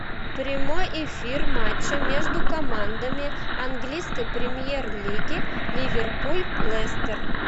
прямой эфир матча между командами английской премьер лиги ливерпуль лестер